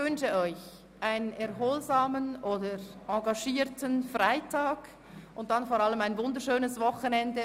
Nun wünsche ich Ihnen einen erholsamen oder engagierten Freitag und dann vor allem ein wunderschönes Wochenende.